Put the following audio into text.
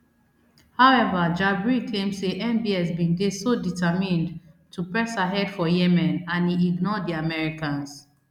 however jabri claim say mbs bin dey so determined to press ahead for yemen and e ignore di americans